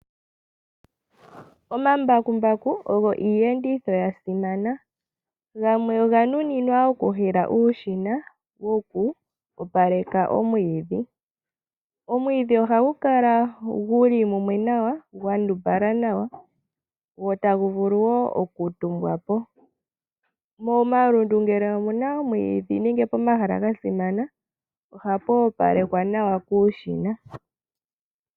Omambakumbaku ogo iiyenditho yasimana gamwe oga nu ninwa oku hila uushina woku opaleka omwidhi. Omwidhi oha gu kala guli mumwe nawa gwandumbala nawa go ta gu vulu wo oku tumbwapo. Momalundu ngele omuna omwidhi nenge pomahala ga simana ohapu opalekwa nawa kuushina.